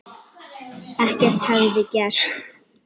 Ekkert hefði gerst.